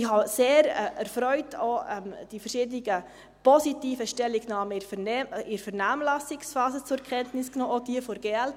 Ich habe sehr erfreut auch die verschiedenen positiven Stellungnahmen in der Vernehmlassungsphase zur Kenntnis genommen, auch jene der glp.